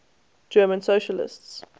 german socialists